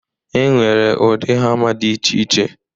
E nwere ụdị hama dị iche iche.